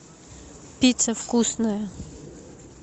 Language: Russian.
пицца вкусная